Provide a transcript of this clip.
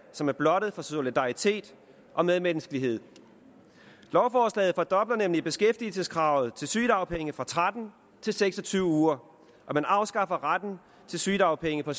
som er blottet for solidaritet og medmenneskelighed lovforslaget fordobler nemlig beskæftigelseskravet til sygedagpenge fra tretten uger til seks og tyve uger og man afskaffer retten til sygedagpenge på